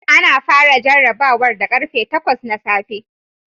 Ana fara jarrabawar da karfe 8 na safe